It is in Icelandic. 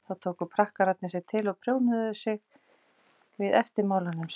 þá tóku prakkararnir sig til og prjónuðu aftan við eftirmálanum sem